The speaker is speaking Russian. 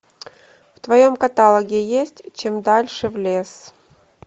в твоем каталоге есть чем дальше в лес